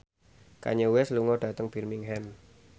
Kanye West lunga dhateng Birmingham